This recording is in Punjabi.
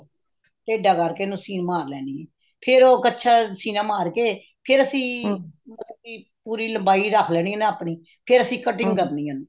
ਟੇਢ਼ਾ ਕਰਕੇ ਇਹਨੂੰ ਸੀਨ ਮਾਰ ਲੈਣੀ ਹੈ ਫ਼ੇਰ ਉਹ ਕੱਛਾ ਸੀਨਾ ਮਾਰ ਕੇ ਫ਼ੇਰ ਅਸੀਂ ਮਤਲਬ ਕੀ ਪੂਰੀ ਲੰਬਾਈ ਰੱਖ ਲੈਣੀ ਹੈ ਆਪਣੀ ਫ਼ੇਰ ਅਸੀਂ cutting ਕਰਨੀ ਉਹਨੂੰ